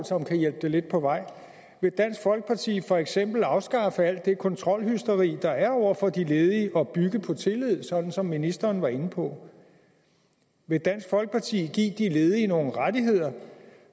som kan hjælpe det lidt på vej vil dansk folkeparti for eksempel afskaffe alt det kontrolhysteri der er over for de ledige og bygge på tillid sådan som ministeren var inde på vil dansk folkeparti give de ledige nogle rettigheder